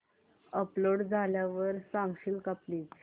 upload झाल्यावर सांगशील का प्लीज